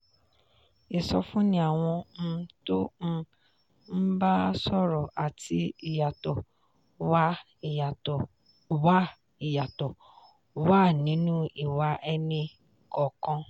ìsọfúnni àwọn um tó um ń bá a sọ̀rọ̀ àti ìyàtọ̀ wà ìyàtọ̀ wà nínú ìwà ẹni kọọkan.